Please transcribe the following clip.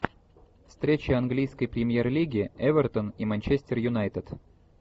встреча английской премьер лиги эвертон и манчестер юнайтед